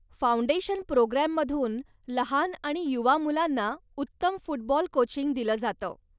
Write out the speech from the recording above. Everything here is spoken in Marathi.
फाउंडेशन प्रोग्रॅममधून लहान आणि युवा मुलांना उत्तम फुटबॉल कोचिंग दिलं जातं.